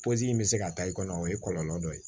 in bɛ se ka taa i kɔnɔ o ye kɔlɔlɔ dɔ ye